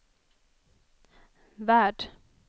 värld